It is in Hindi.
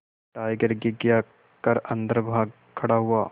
टाइगर घिघिया कर अन्दर भाग खड़ा हुआ